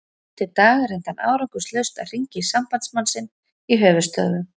Dag eftir dag reyndi hann árangurslaust að hringja í sambandsmann sinn í höfuðstöðvum